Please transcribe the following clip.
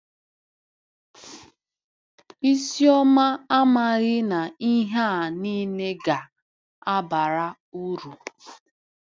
Isioma amaghị na ihe a nile ga-abara uru.